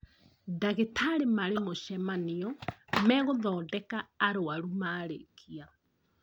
Ndagĩtarĩ marĩ mũcemanio me gũthondeka arwaru marĩkia